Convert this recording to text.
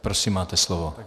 Prosím, máte slovo.